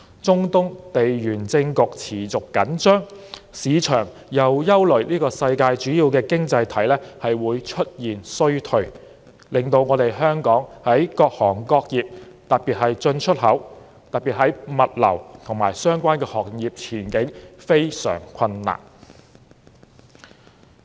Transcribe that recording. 中東地緣政局持續緊張，市場又憂慮世界主要經濟體會出現衰退，令到香港各行各業，尤其是進出口、物流及相關行業的前景非常困難。